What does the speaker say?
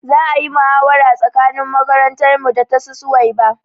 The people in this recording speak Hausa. Za ayi muhawara tsakanin makarantar mu da tasu suwaiba